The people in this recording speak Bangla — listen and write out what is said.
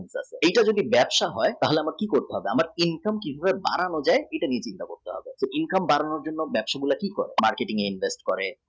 এইটা যদি ব্যবসা হই তাহলে আমাকে কী করতে হবে আমার নিজেকে আমার income কী করে বাড়ানো যায় এটা income বাড়ানোর জন্য ব্যবসাগুলো কী করে marketing এ invest করে